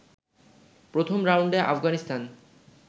প্রথম রাউন্ডে আফগানিস্তান